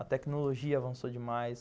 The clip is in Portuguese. A tecnologia avançou demais.